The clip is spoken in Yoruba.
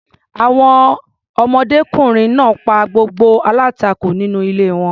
Àwọn ọmọdékùnrin náà pa gbogbo aláǹtakùn nínú ilé wọn.